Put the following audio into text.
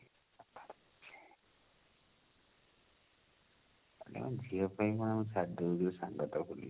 କାଲି ଆମ ଝିଅ ପାଇଁ କଣ